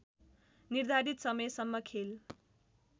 निर्धारित समयसम्म खेल